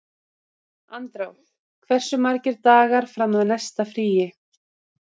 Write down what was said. Andrá, hversu margir dagar fram að næsta fríi?